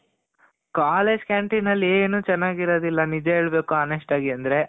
college canteen ಅಲ್ಲಿ ಏನು ಚೆನಾಗಿರೋದಿಲ್ಲ. ನಿಜ ಹೇಳ್ಬೇಕು honest ಆಗಿ ಅಂದ್ರೆ .